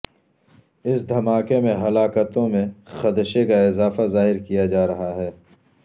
اس دھماکے میں ہلاکتوں میں خدشے کا اضافہ ظاہر کیا جا رہا ہے